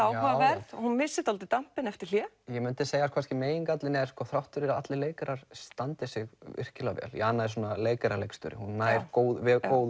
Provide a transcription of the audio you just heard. áhugaverð hún missir dálítið eftir hlé ég myndi segja að megingallinn sé þrátt fyrir að allir leikarar standi sig virkilega vel Jana er svona leikara leikstjóri hún nær góðu